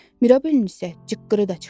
Mirabelin isə cıqqırı da çıxmırdı.